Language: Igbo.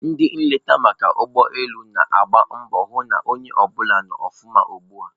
Ndị nleta maka ụgbọ elu na-agba mbọ hụ na onye ọbụla nọ ọfụma ugbua.